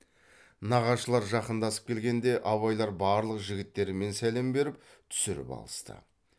нағашылар жақындасып келгенде абайлар барлық жігіттермен сәлем беріп түсіріп алысты